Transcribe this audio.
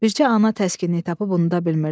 Bircə ana təskinlik tapıb unuda bilmirdi.